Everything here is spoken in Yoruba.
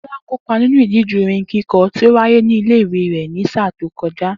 Débó̩lá kò kópa nínú ìdíje orin kíko̩ tí ó wáyé nílé ìwé rè̩ ní sáà tó ko̩já